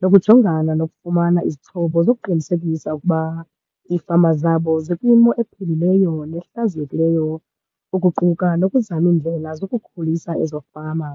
nokujongana nokufumana izixhobo zokuqinisekisa ukuba iifama zabo zikwimo ephilileyo nehlaziyekileyo, ukuquka nokuzama iindlela zokukhulisa ezo fama.